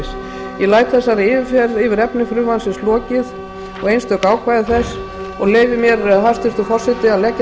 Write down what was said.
ég læt þessari yfirferð yfir efni frumvarpsins og einstök ákvæði þess lokið og leyfi mér hæstvirtur forseti að leggja til